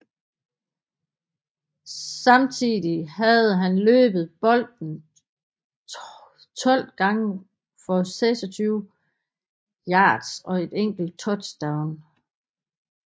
Samtidig havde han løbet bolden 12 gange for 26 yards og et enkelt touchdown